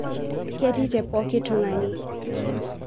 Ketii tepokii tungani.